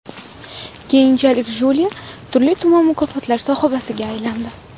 Keyinchalik Julia turli-tuman mukofotlar sohibiga aylandi.